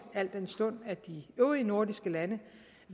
al den stund at de øvrige nordiske lande